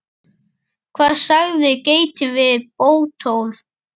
Hvað sagði geitin við Bótólf?